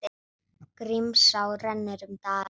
Grímsá rennur um dalinn.